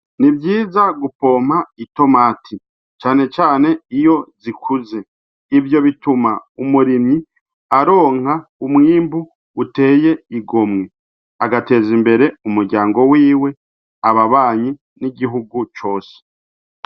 Nivyiza gupompa itomati cane cane iyo zikuze ivyo bituma umurimyi aronka umwimbu uteye igomwe agateza imbere umuryango wiwe ababanyi n'igihugu cose.